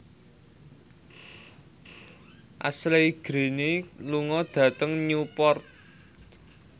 Ashley Greene lunga dhateng Newport